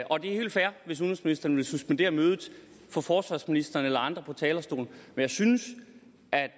og det er helt fair hvis udenrigsministeren vil suspendere mødet og få forsvarsministeren eller andre på talerstolen men jeg synes